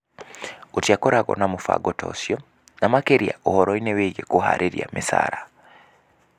G?tiakoragwo na m?bango ta ?cio, na mak? ria ?horo-in? w?gi? k?r?ha micara"